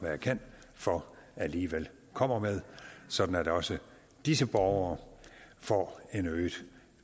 jeg kan for alligevel kommer med sådan at også disse borgere får en øget